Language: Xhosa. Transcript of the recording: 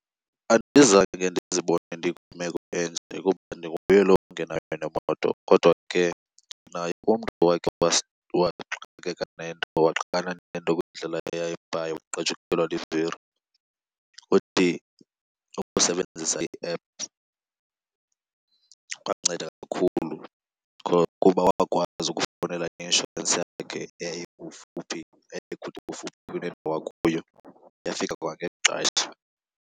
Andizange ke ndizibone ndikwimeko enje kuba ndinguye lo mntu ungenayo nemoto. Kodwa ke ndinaye umntu owakhe waxakana nento kwindlela eya eBhayi wagqajukelwa livili. Uthi ukusebenzisa i-app kwanceda kakhulu because kuba wakwazi ukufowunela i-inshorensi yakhe eyayikufuphi, eyayikufuphi nendawo akuyo yafika kwangexesha.